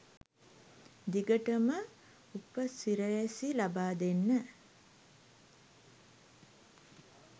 දිගටම උපසිරැසි ලබාදෙන්න